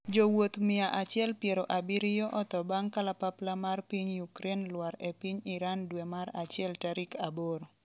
jowuoth mia achiel piero abiriyo otho bang' kalapapla mar piny Ukraine lwar e piny Iran dwe mar achiel tarik aboro